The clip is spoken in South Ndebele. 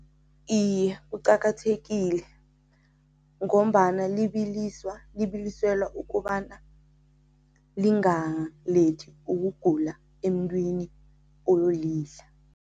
Iye, kuqakathekile ngombana libiliselwa ukobana lingalethi ukugula emntwini oyolidla.